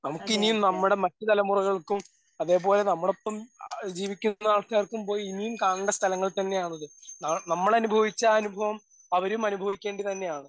നമുക്ക് ഇനിയും നമ്മടെ മറ്റ് തലമുറകൾക്കും അതേപോലെ നമ്മടെ ഒപ്പം ആ ജീവിക്കുന്ന ആൾക്കാർക്കും പോയി ഇനി കാണേണ്ട സ്ഥലങ്ങൾ തന്നെ ആണ് അത്. ആ നമ്മൾ അനുഭവിച്ച ആ അനുഭവം അവരും അനുഭവിക്കേണ്ടത് തന്നെ ആണ്.